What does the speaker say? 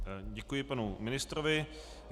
Děkuji panu ministrovi.